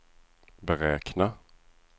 beräkna